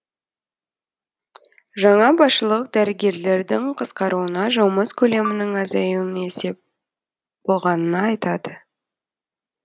жаңа басшылық дәрігерлердің қысқаруына жұмыс көлемінің азаюы есеп болғанына айтады